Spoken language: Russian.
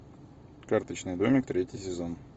карточный домик третий сезон